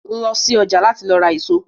Lọ sí ọjà Kétu láti lọ ra èso!